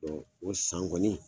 Ɔ o san kɔni